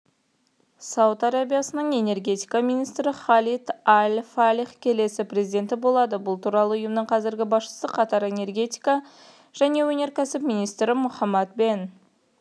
сауд арабиясының энергетика министрі халид аль-фалих келесі президенті болады бұл туралы ұйының қазіргі басшысы катар энергетика және өнеркәсіп министрі мохаммед бен